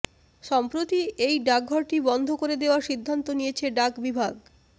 সম্প্রতি এই ডাকঘরটি বন্ধ করে দেওয়ার সিদ্ধান্ত নিয়েছে ডাক বিভাগ